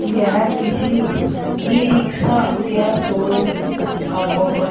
यह किसी ई-रिक्शा क्या शोरूम का फोटो है।